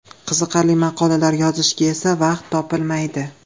Qiziqarli maqolalar yozishga esa vaqt topilmaydi.